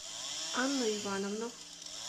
анну ивановну